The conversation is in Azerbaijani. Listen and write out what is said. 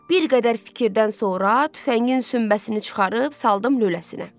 Bir qədər fikirdən sonra tüfəngin sümbəsini çıxarıb saldım lüləsinə.